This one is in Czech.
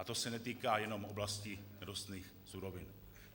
A to se netýká jenom oblasti nerostných surovin.